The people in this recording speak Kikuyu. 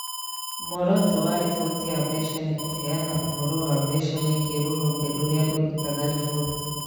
Muoroto wa riboti ya mbeca nĩ kũheana ũhoro wa mbeca wĩgiĩ rũhonge rũrĩa rũrutaga riboti.